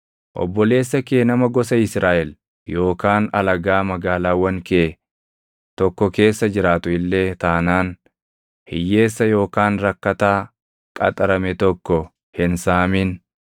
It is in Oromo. Obboleessa kee nama gosa Israaʼel yookaan alagaa magaalaawwan kee tokko keessa jiraatu illee taanaan hiyyeessa yookaan rakkataa qaxarame tokko hin saamin.